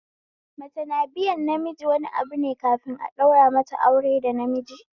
Mace na biyan namiji wani abune kafin a daura mata aure da namiji